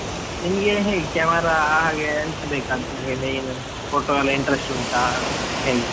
ನಿಮ್ಗೆ ಹೇಗೆ camera ಹಾಗೆ ಎಂತ ಬೇಕು, ಅಂತ ನಿಮಗೆ main, photo ಎಲ್ಲ interest ಉಂಟಾ ಹೇಗೆ.